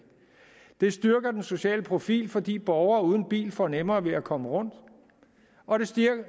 det styrker den sociale profil fordi borgere uden bil får nemmere ved at komme rundt og det styrker